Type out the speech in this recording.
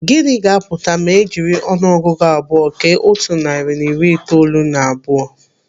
Gịnị ga-apụta ma ejiri ọnụ ọgụgụ abụọ kee otu narị na iri itoolu na abụọ?